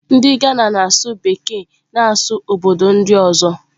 Ndị Ghana na-asụ Bekee na asụsụ obodo ndị ọzọ.